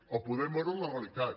o podem veure la realitat